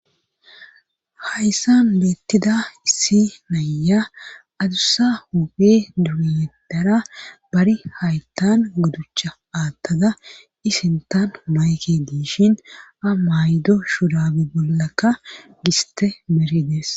Hayssan beettida issi nayya adussa hupe duriedara bari haytan gudducha aattada isintan mayke diishin a maydo shudaabi bollakka giste meridees